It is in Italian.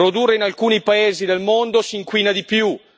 Producendo in alcuni paesi del mondo si inquina di più.